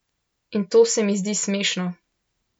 In to se mi zdi smešno.